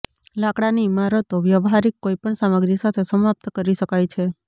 લાકડાની ઇમારતો વ્યવહારિક કોઈપણ સામગ્રી સાથે સમાપ્ત કરી શકાય છે